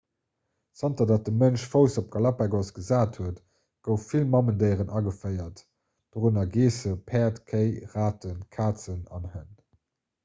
zanter datt de mënsch fouss op d'galapagos gesat huet goufe vill mamendéieren ageféiert dorënner geessen päerd kéi raten kazen an hënn